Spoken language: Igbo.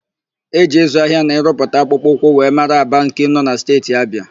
E ji ịzụ ahịa na ịrụpụta akpụkpọ ụkwụ wee mara Aba nke nọ na Steeti Abịa.